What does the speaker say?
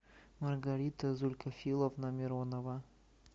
маргарита зулькафиловна миронова